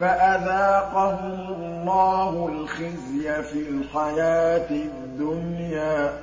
فَأَذَاقَهُمُ اللَّهُ الْخِزْيَ فِي الْحَيَاةِ الدُّنْيَا ۖ